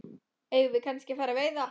Eigum við kannski að fara að veiða?